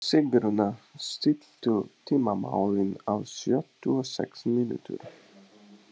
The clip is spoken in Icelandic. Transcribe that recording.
Sigurnanna, stilltu tímamælinn á sjötíu og sex mínútur.